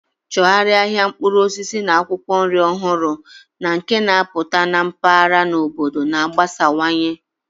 Chọgharịa ahịa mkpụrụ osisi na akwụkwọ nri ọhụrụ na nke na-apụta na mpaghara na obodo na-agbasawanye.